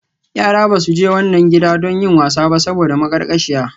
Yara ba su je wannan gidan don yin wasa ba saboda maƙarƙashiya.